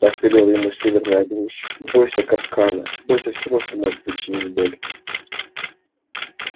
так велела ему северная глушь бойся капкана бойся всего что может причинить боль